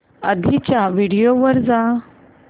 आधीच्या व्हिडिओ वर जा